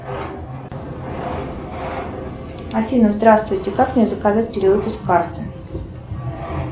афина здравствуйте как мне заказать перевыпуск карты